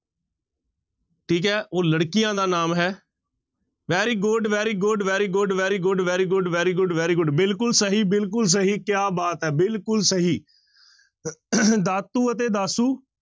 ਠੀਕ ਹੈ ਉਹ ਲੜਕੀਆਂ ਦਾ ਨਾਮ ਹੈ very good, very good, very good, very good, very good, very good, very good ਬਿਲਕੁਲ ਸਹੀ ਬਿਲਕੁਲ ਸਹੀ ਕਿਆ ਬਾਤ ਹੈ ਬਿਲਕੁਲ ਸਹੀ ਦਾਤੂ ਅਤੇ ਦਾਸੂ